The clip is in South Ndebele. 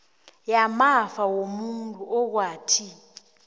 yamafa womuntu okwathi